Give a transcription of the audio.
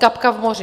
Kapka v moři.